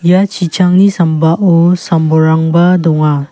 ia chichangni sambao sam bolrangba donga.